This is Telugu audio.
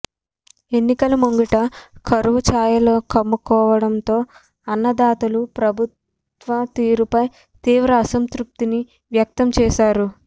ఎన్నికల ముంగిట కరవు చాయలుకమ్ముకోవడంతో అన్నదాతలు ప్రభుత్వ తీరుపైతీవ్ర అసంతృప్తిని వ్యక్తం చేశారు